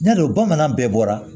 Ɲare bamanan bɛɛ bɔra